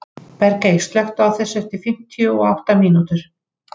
Bergey, slökktu á þessu eftir fimmtíu og átta mínútur.